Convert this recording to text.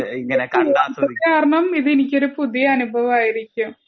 കാരണം ഇത് എനിക്കൊരു പുതിയ അനുഭവം ആയിരിക്കും